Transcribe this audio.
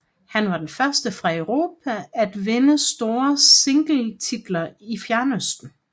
Han var den første fra Europa at vinde store singletitler i Fjernøsten